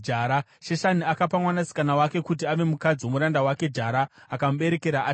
Sheshani akapa mwanasikana wake kuti ave mukadzi womuranda wake. Jara akamuberekera Atai.